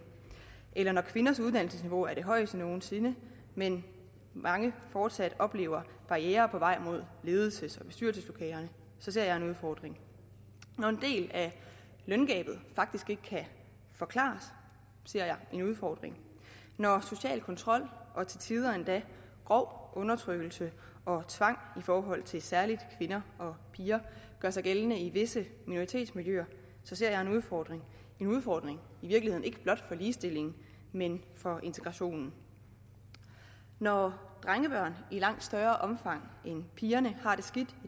eller når kvinders uddannelsesniveau er det højeste nogen sinde men mange fortsat oplever barrierer på vej mod ledelses og bestyrelseslokaler så ser jeg en udfordring når en del af løngabet faktisk ikke kan forklares ser jeg en udfordring når social kontrol og til tider endda grov undertrykkelse og tvang i forhold til særlig kvinder og piger gør sig gældende i visse minoritetsmiljøer ser jeg en udfordring en udfordring i virkeligheden ikke blot for ligestillingen men for integrationen når drengebørn i langt større omfang end piger har det skidt